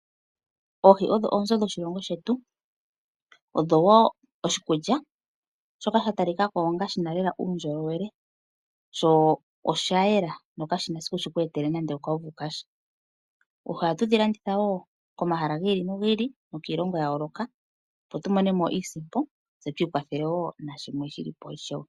Oohi odho oonzo dhoshilongo shetu, odho wo oshikulya shoka sha talika ko onga shi na lela uundjolowele sho osha yela sho kashi na esiku shi ku etele nande okauvu kasha. Oohi ohatu dhi landitha wo komahala ga yooloka nokiilongo ya yooloka opo tu vule tu mone mo iisompo tse tu ikwathele wo nashimwe shilipo ishewe.